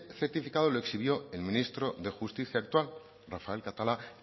certificado lo exhibió el ministro de justicia actual rafael catalá